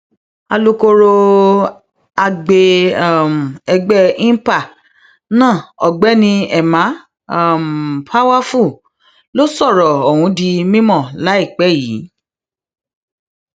alūkró agbe um ẹgbẹ inpa náà ọgbẹni emma um powerfull ló sọrọ ọhún di mímọ láìpẹ yìí